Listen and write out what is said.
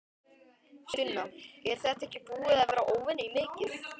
Sunna: Er þetta ekki búið að vera óvenju mikið?